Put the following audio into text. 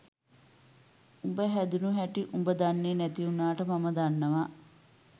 උඹ හැදුනු හැටි උඹ දන්නෙ නැති වුනාට මම දන්නවා